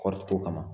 Kɔɔriko kama